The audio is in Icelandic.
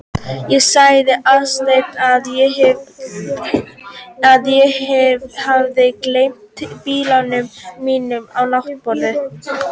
Ég sagði Aðalsteini að ég hefði gleymt biblíunni minni á náttborðinu.